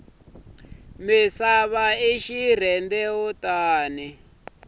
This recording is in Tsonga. misava i xirhendewutani